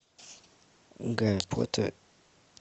гарри поттер